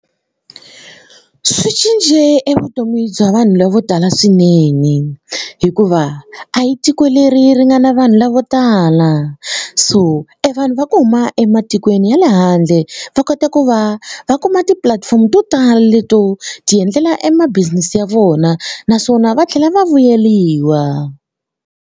Swi cince e vutomi bya vanhu lava vo tala swinene hikuva a hi tiko leri ri nga na vanhu lavo tala so e vanhu va ku huma ematikweni ya le handle va kota ku va va kuma tipulatifomo to tala leto tiendlela e ma-business ya vona naswona va tlhela va vuyeriwa.